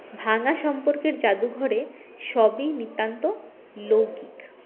ভাঙা সম্পর্কের জাদুঘরে সবই নিতান্ত লৌকিক